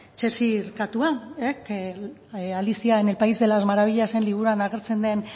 cheshire katua alicia en el país de las maravillas liburuan agertzen den